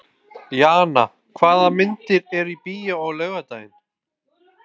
Jana, hvaða myndir eru í bíó á laugardaginn?